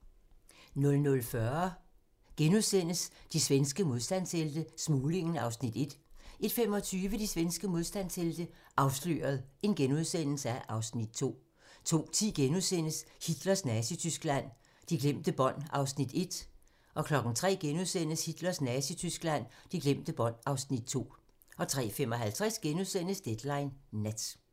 00:40: De svenske modstandshelte - Smuglingen (Afs. 1)* 01:25: De svenske modstandshelte - Afsløret (Afs. 2)* 02:10: Hitlers Nazityskland: De glemte bånd (Afs. 1)* 03:00: Hitlers Nazityskland: De glemte bånd (Afs. 2)* 03:55: Deadline Nat *